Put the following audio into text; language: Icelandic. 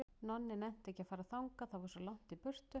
Nonni nennti ekki að fara þangað, það var svo langt í burtu.